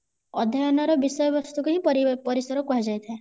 ଅଧ୍ୟୟନ ର ବିଷୟ ବସ୍ତୁ କୁ ହିଁ ପରିସର କୁହାଯାଇ ଥାଏ